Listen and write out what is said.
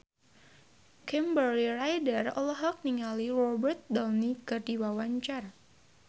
Kimberly Ryder olohok ningali Robert Downey keur diwawancara